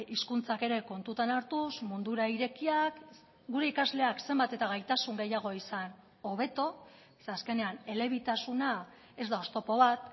hizkuntzak ere kontutan hartuz mundura irekiak gure ikasleak zenbat eta gaitasun gehiago izan hobeto ze azkenean elebitasuna ez da oztopo bat